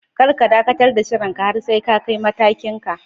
Kar ka dakatar da shirin ka har sai ka kai matakin ka